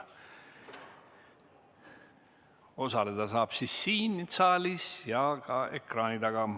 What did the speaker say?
Osaleda saab nii saalis kui ka ekraani taga.